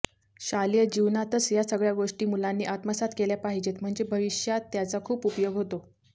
शालेय जीवनातच यासगळ्या गोष्टी मुलांनी आत्मसात केल्या पाहिजेत म्हणजे भविष्यात त्याचा खूप उपयोग होतो